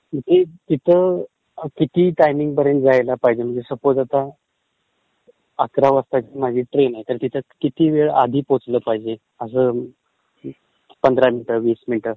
म्हणजे तिथं किती टाइमिंगपर्यंत जायला पाहिजे म्हणजे सपोज आता अकरा वाजताची माझी ट्रेन आहे तर आहे तर तिथं किती वेळ आधी पोटलं पाहिजे असं. पंधरा मिनिटं, वीस मिनिटं.